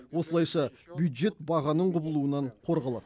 осылайша бюджет бағаның құбылуынан қорғалады